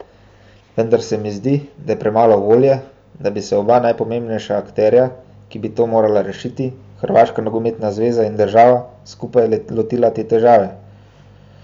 Vendar se mi zdi, da je premalo volje, da bi se oba najpomembnejša akterja, ki bi to morala rešiti, Hrvaška nogometna zveza in država, skupaj lotila te težave.